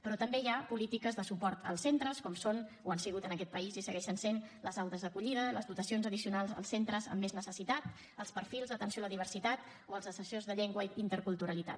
però també hi ha polítiques de suport als centres com són o han sigut en aquest país i ho segueixen sent les aules d’acollida les dotacions addicionals als centres amb més necessitat els perfils d’atenció a la diversitat o els assessors de llengua i interculturalitat